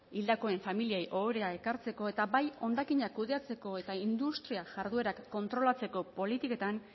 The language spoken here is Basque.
hildakoen familiei ohorea ekartzeko eta bai hondakinak kudeatzeko eta industria jarduerak kontrolatzeko politiketan